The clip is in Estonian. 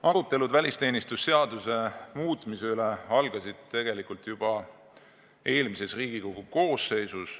Arutelud välisteenistuse seaduse muutmise üle algasid tegelikult juba eelmises Riigikogu koosseisus.